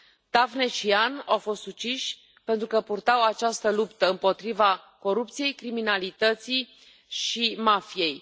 Daphne și Jan au fost uciși pentru că purtau această luptă împotriva corupției, criminalității și mafiei.